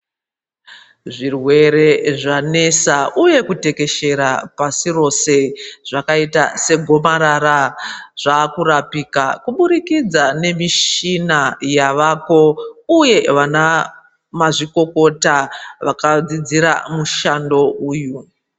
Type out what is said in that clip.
Zvirwere zvanetsa uye kutekeshera pasi roshe zvakaita segomarara zvaakurapika kuburikidza nemishina yavapo uye vanamazvikokota vakadzidzira mushando uyu.